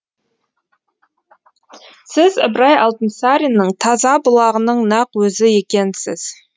сіз ыбырай алтынсариннің таза бұлағының нақ өзі екенсіз